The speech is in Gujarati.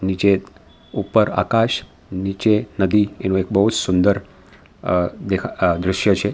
નીચે ઉપર આકાશ નીચે નદી એનું એક બહુ જ સુંદર દેખા દ્રશ્ય છે.